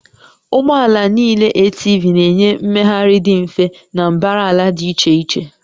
Ụgbọ ala niile ATV na-enye mmegharị dị mfe na mbara ala dị iche iche